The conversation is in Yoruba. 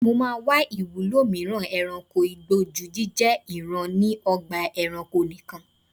Mo máa wá ìwúlò mìíràn e̩ranko igbó ju jíjé̩ ìran ni o̩gbà e̩ranko nikan.